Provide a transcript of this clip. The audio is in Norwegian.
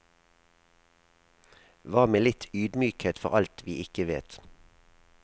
Hva med litt ydmykhet for alt vi ikke vet.